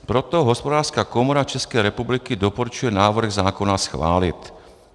Proto Hospodářská komora České republiky doporučuje návrh zákona schválit.